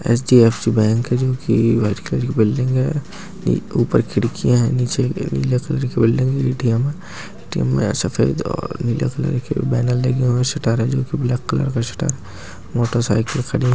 HDFC bank है जो कि व्हाईट कलर कि बिल्डिंग है एक ऊपर खिड़की है नीचे नीले कलर की बिल्डिंग है ए.टी.एम है ए.टी.ए.म सफ़ेद और नीले कलर के बैनर लगे हुए है शटर है जो की ब्लॅक कलर का शटर है। मोटर सायकल खडी हुई --